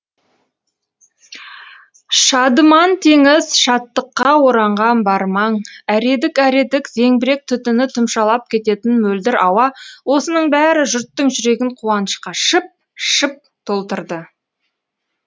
шадыман теңіз шаттыққа оранған бар маң әредік әредік зеңбірек түтіні тұмшалап кететін мөлдір ауа осының бәрі жұрттың жүрегін қуанышқа шып шып толтырды